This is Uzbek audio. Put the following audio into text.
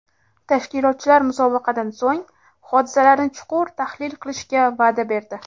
Tashkilotchilar musobaqadan so‘ng, hodisalarni chuqur tahlil qilishga va’da berdi.